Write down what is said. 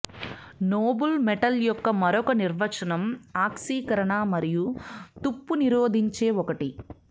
Nobel metal యొక్క మరొక నిర్వచనం ఆక్సీకరణ మరియు తుప్పు నిరోధించే ఒకటి